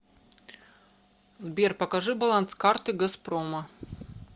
сбер покажи баланс карты газпрома